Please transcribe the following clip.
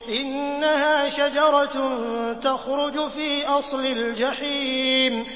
إِنَّهَا شَجَرَةٌ تَخْرُجُ فِي أَصْلِ الْجَحِيمِ